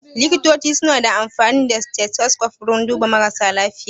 Likitoci su na amfani da stethoscope wurin duba mara lafiya